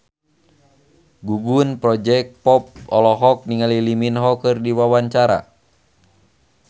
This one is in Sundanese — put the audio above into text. Gugum Project Pop olohok ningali Lee Min Ho keur diwawancara